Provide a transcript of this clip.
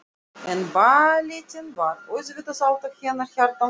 En ballettinn var auðvitað alltaf hennar hjartans mál.